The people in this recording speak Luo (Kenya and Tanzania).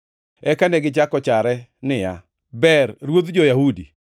Eka negichako jare niya, “Ber Ruodh jo-Yahudi.”